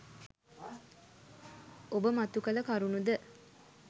ඔබ මතු කළ කරුණු ද